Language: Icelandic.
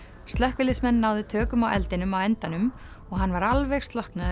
slökkviliðsmenn náðu tökum á eldinum á endanum og hann var alveg slokknaður